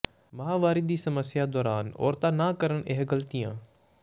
ਮਾਹਾਵਾਰੀ ਦੀ ਸਮੱਸਿਆ ਦੌਰਾਨ ਔਰਤਾਂ ਨਾ ਕਰਨ ਇਹ ਗਲਤੀਆਂ